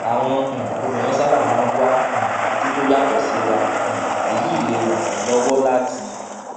àwọn um obìnrin sábà máa ń wá um ojú tó yàtò síra um èyí lè ràn wón lówó láti